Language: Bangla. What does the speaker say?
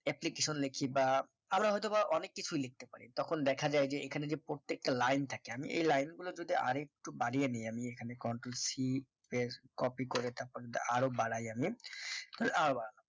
application লেখি বা আমরা হয় তো বা অনেক কিছু লিখতে পারি তখন দেখা যায় যেএখানে যে প্রত্যেকটা লাইন থাকে আমি এই লাইন গুলো যদি আরো একটু বাড়িয়ে নিয়ে আমি এখানে control c space copy করে তারপর দা আরো বাড়াই আমি